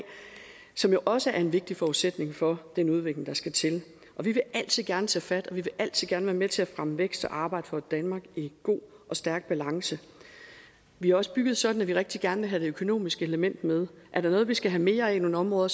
som jo også er en vigtig forudsætning for den udvikling der skal til og vi vil altid gerne tage fat og vi vil altid gerne være med til at fremme vækst og arbejde for et danmark i god og stærk balance vi er også bygget sådan at vi rigtig gerne vil have det økonomiske element med er der noget vi skal have mere af i nogle områder